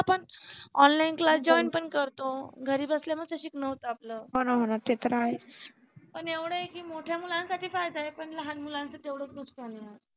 online class join पण करतो घरी बसल्या बसल्या शिकन होत आपल पण एवढ आहे की मोठ्या मुलांसाठी फायदा आहे पण लहान मुलांच तेवढच नुकसान आहे.